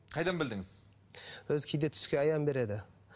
қайдан білдіңіз өзі кейде түске аян береді